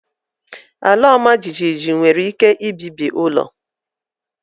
Ala ọmajiji nwere ike ibibi ụlọ